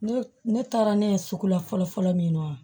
Ne ne taara ne ye sugu la fɔlɔ fɔlɔ fɔlɔ min na wa